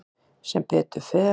Sem betur fer.